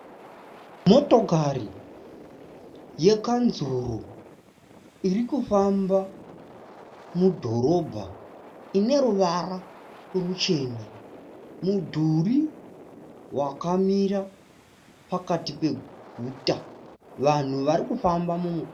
Motokari yekanzuru iri kufamba mudhorobha ine ruvara ruchena. Mudhuri wakamira pakati peguta. Vanhu varikufamba